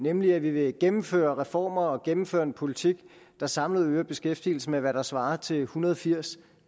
nemlig at vi vil gennemføre reformer og gennemføre en politik der samlet øger beskæftigelsen med hvad der svarer til ethundrede og firstusind